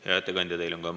Hea ettekandja!